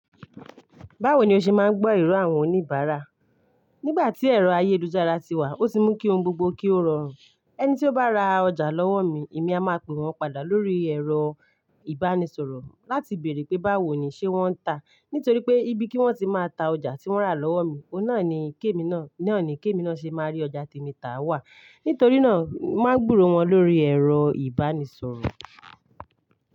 Báwo ni o ṣe máa ń gbọ́ èrò àwọn oníbàárà? Nígbà tí ẹ̀rọ ayélujára ti wà, ó ti mú kí ohun gbogbo kí ó rọrùn. Ẹni tí ó bá ra ọjà lọ́wọ́ mi, èmi a máa pe wọ́n padà lórí ẹ̀rọ ìbánisọ̀rọ̀ láti bèèrè pé báwo ni ṣe wọ́n ta. Nítorí pé ibi kí wọ́n ti máa ta ọjà tí wọ́n rà lọ́wọ́ mi, ohun na kí èmi náà, nani kí èmi náà ṣe máa rí ọjà tèmi tà wá. Nítorí náà, màá gbúrò wọn lórí ẹ̀rọ ìbánisọ̀rọ̀.